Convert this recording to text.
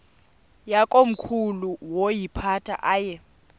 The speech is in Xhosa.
yakomkhulu woyiphatha aye